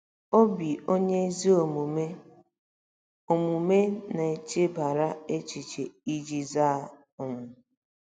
“Obi onye ezi omume omume na-echebara echiche iji zaa.” um